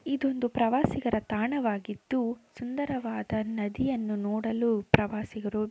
ಇದು ಒಂದು ಪ್ರವಾಸಿಗರ ತಾಣವಾಗಿದ್ದು ಸುಂದರವಾದ ನದಿಯನ್ನು ನೋಡಲು ಪ್ರವಾಸಿಗರು--